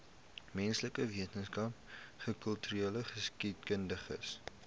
menslike wetenskappe kultureelgeskiedkundige